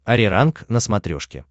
ариранг на смотрешке